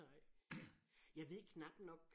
Nej jeg ved knap nok